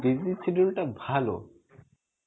busy schedule টা ভালো